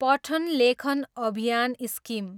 पठन लेखन अभियान स्किम